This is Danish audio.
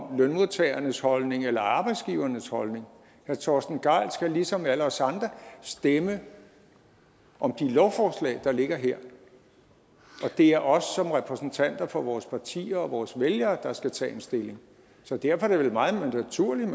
om lønmodtagernes holdning eller arbejdsgivernes holdning herre torsten gejl skal ligesom alle os andre stemme om de lovforslag der ligger her og det er os som repræsentanter for vores partier og vores vælgere der skal tage en stilling så derfor er det vel meget naturligt